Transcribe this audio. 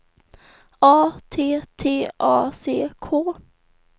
A T T A C K